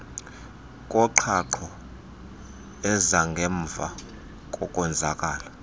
koqhaqho ezangemva kokonzakala